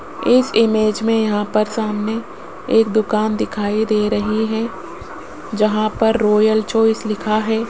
इस इमेज में यहां पर सामने एक दुकान दिखाई दे रही है जहां पर रॉयल चॉइस लिखा है।